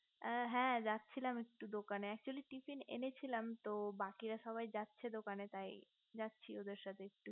হ্যা যাচ্ছিলাম একটু দোকানে actually tiffin এনেছিলাম তো বাকিরা সবাই যাচ্ছে দোকানে তাই যাচ্ছে ওদের সাথে একটু